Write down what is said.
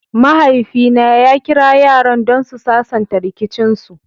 mahaifi na ya Kira yaran don su sasanta rikicin su.